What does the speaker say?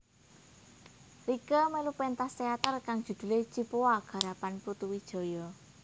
Rieke melu pentas teater kang judhule Cipoa garapan Putu Wijaya